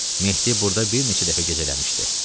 Mehdi burda bir neçə dəfə gecələmişdi.